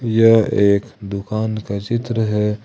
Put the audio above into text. यह एक दुकान का चित्र है।